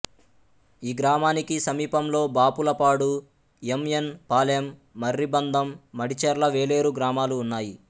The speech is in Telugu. ఈ గ్రామానికి సమీపంలో బాపులపాడు ఎం ఎన్ పాలెం మర్రిబందం మడిచెర్ల వేలేరు గ్రామాలు ఉన్నాయి